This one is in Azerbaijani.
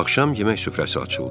Axşam yemək süfrəsi açıldı.